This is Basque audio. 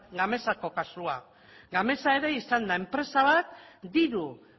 gamesako kasua gamesa ere izan da enpresa bat diru